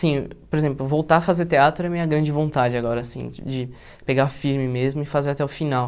Sim, por exemplo, voltar a fazer teatro é minha grande vontade agora, assim, de pegar firme mesmo e fazer até o final.